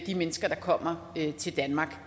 de mennesker der kommer til danmark